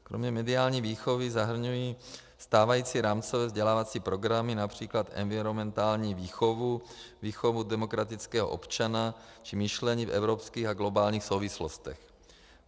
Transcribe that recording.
Kromě mediální výchovy zahrnují stávající rámcové vzdělávací programy například environmentální výchovu, výchovu demokratického občana či myšlení v evropských a globálních souvislostech.